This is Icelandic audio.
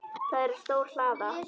Það er stór hlaða.